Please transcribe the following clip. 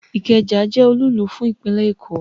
Ikeja je olúùlú fún ìpínlè Èkó